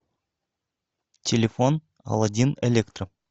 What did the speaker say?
телефон аладдин электро